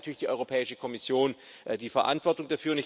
Dafür trägt natürlich die Europäische Kommission die Verantwortung.